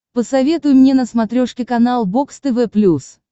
посоветуй мне на смотрешке канал бокс тв плюс